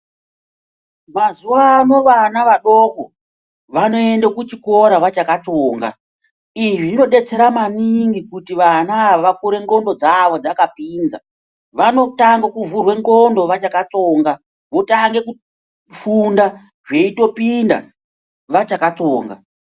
Mazuva ano vana vadoko vanoende kuchikora vachakatsonga, izvi zvinodetsera maningi kuti vana ava vakure ndxondo dzavo dzakapinza vanotange kuvhurwe ndxondo vachakatsonga votange kufunda zveitopinda vachakatsonga.